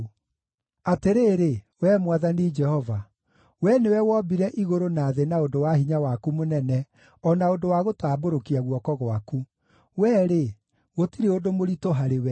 “Atĩrĩrĩ, wee Mwathani Jehova, we nĩwe wombire igũrũ na thĩ na ũndũ wa hinya waku mũnene, o na ũndũ wa gũtambũrũkia guoko gwaku. Wee-rĩ, gũtirĩ ũndũ mũritũ harĩwe.